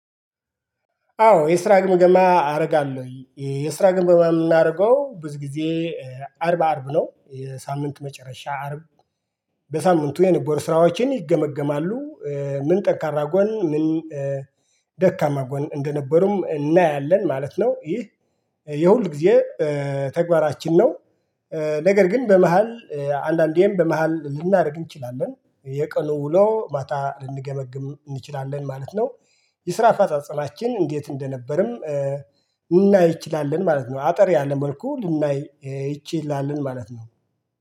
አዎ የስራ ግምገማ አደርጋለሁ የስራ ግምገማ የምናደርገው ብዙ ጊዜ አርብ አርብ ነው የሳምንት መጨረሻ አርብ በሳምንቱ የነበሩ ስራዎችን ይገመገማሉ። ምን ደካማ ጎን ምን ደካማ ጎን እንደነበሩም እናያለን ማለት ነው። ይህ የሁል ጊዜ ተግባራችን ነው። ነገር ግን በመሃል አንዳንዴም በመሃል ልናደርግ እንችላለን የቀኑ ውሎ ማታ ልንገመግም እንችላለን ማለት ነው። የስራ አፈጻጸላማችን እንዴት? እንደነበርም ልናይ እንችላለን ማለት ነው። አጠር ያለ መልኩ ልናይ እንችላለን ማለት ነው